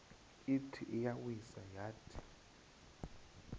ithi iyawisa yathi